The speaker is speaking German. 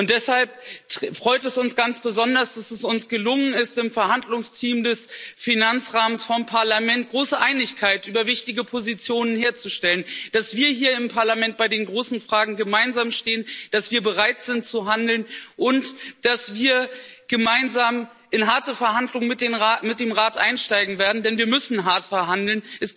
Deshalb freut es uns ganz besonders, dass es uns gelungen ist, im Verhandlungsteam des Parlaments für den Finanzrahmen große Einigkeit über wichtige Positionen herzustellen, dass wir hier im Parlament bei den großen Fragen gemeinsam stehen, dass wir bereit sind, zu handeln und dass wir gemeinsam in harte Verhandlungen mit dem Rat einsteigen werden, denn wir müssen hart verhandeln.